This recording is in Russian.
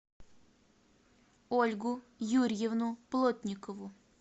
ольгу юрьевну плотникову